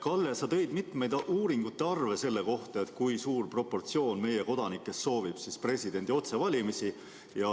Kalle, sa tõid mitmeid uuringute arve selle kohta, kui suur osa meie kodanikest soovib presidendi otsevalimisi.